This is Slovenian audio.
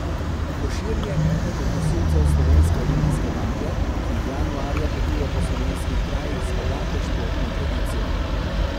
Košir je eden od nosilcev slovenske olimpijske bakle, ki januarja potuje po slovenskih krajih z bogato športno tradicijo.